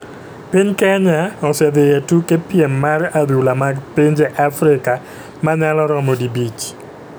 Piny kenya osedhi e tuke piem mar adhula mag pinje Afrika manyalo romo dibich,